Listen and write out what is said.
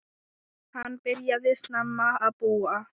Hann byrjaði snemma að búa.